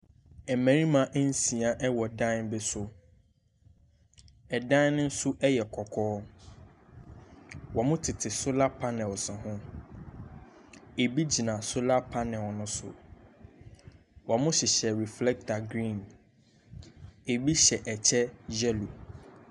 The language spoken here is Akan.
Mmarima nsia wɔ dan bi so. Dan no nso yɛ kɔkɔɔ. Wɔtete solar panels ho. Ebi gyina solar panel no so. Wɔhyehyɛ reflector green. Ebi hyɛ kyɛ yellow.